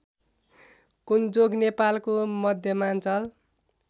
कुन्चोक नेपालको मध्यमाञ्चल